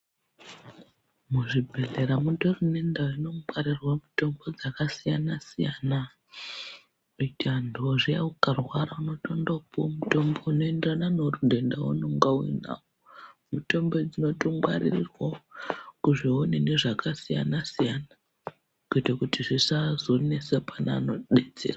Muzvibhedhlera mutori nendau inongwarirwa mitombo dzakasiyana siyana mitando zviya ukarwara unotondopuwa mutombo unoenderana neundenda waunenge unao mitombo idzi dzinotongwaririrwao kuzvionini zvakasiyana siyana kuitira kuti zvisazonesa pane anodetsera.